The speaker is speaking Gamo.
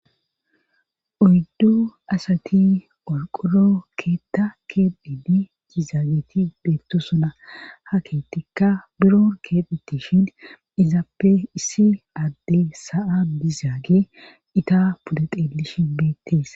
Oyddu asati qorqoro keeththa keexxide dizayti beetosona. ha keeththaza biron keexetishe izappe issi adde sa'an dizaage eta pude xeelishin beetees.